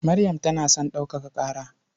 Maryam tana son ɗaukaka ƙara.